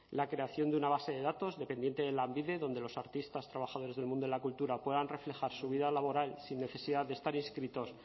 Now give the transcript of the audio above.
la creación de una base de datos dependiente de lanbide donde los artistas trabajadores del mundo de la cultura puedan reflejar su vida laboral sin necesidad de estar inscritos